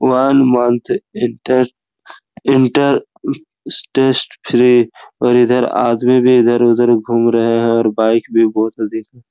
one month इक्टर inter interest free पर आदमी भी इधर-उधर घूम रहे हैं और बाइक भी बहोत से दिख--